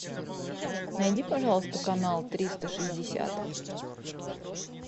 найди пожалуйста канал триста шестьдесят